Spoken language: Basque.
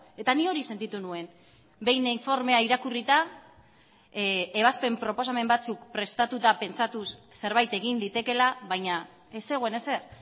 eta ni hori sentitu nuen behin informea irakurrita ebazpen proposamen batzuk prestatuta pentsatuz zerbait egin litekeela baina ez zegoen ezer